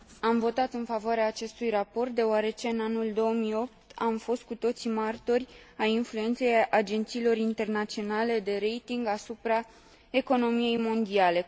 Am votat în favoarea acestui raport, deoarece, în anul 2008, am fost cu toții martori ai influenței agențiilor internaționale de rating asupra economiei mondiale.